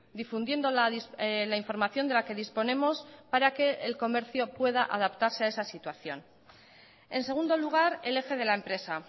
difundiendo la información de la que disponemos para que el comercio pueda adaptarse a esa situación en segundo lugar el eje de la empresa